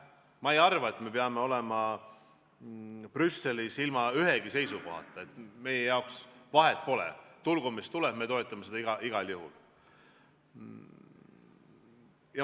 Ma ei arva, et peaksime olema Brüsselis ilma ühegi seisukohata ja et meie jaoks vahet pole – tulgu mis tuleb, me toetame seda igal juhul.